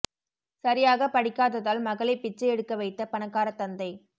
சரியாக படிக்காததால் மகளை பிச்சை எடுக்க வைத்த பணக்காரத் தந்தை